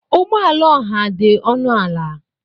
Ụgbọ ala ọha dị ọnụ ala.